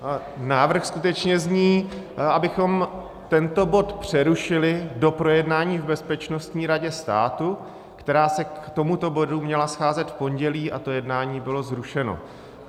Návrh skutečně zní, abychom tento bod přerušili do projednání v Bezpečnostní radě státu, která se k tomuto bodu měla scházet v pondělí, a to jednání bylo zrušeno.